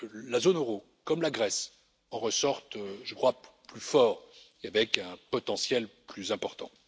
la zone euro, comme la Grèce, en ressortent, je crois, plus fortes et avec un potentiel plus important.